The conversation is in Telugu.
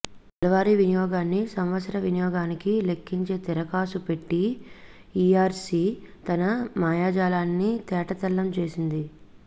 నెలవారీ వినియోగాన్ని సంవత్సర వినియోగానికి లెక్కించే తిరకాసు పెట్టి ఈఆర్సీ తన మాయాజాలాన్ని తేటతెల్లం చేసింది